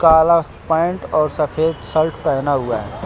काला पैंट और सफेद शर्ट पहना हुआ है।